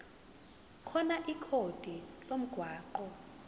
khona ikhodi lomgwaqo